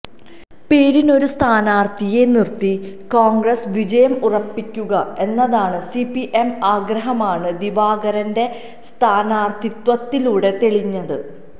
പേരിനൊരു സ്ഥാനാര്ത്ഥിയെ നിര്ത്തി കോണ്ഗ്രസ് വിജയം ഉറപ്പിക്കുക എന്നതാണ് സിപിഎം ആഗ്രഹമാണ് ദിവാകരന്റെ സ്ഥാനാര്ത്ഥിത്വത്തിലൂടെ തെളിഞ്ഞത്